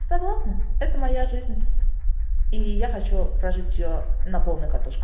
согласна это моя жизнь и я хочу прожить её на полную катушку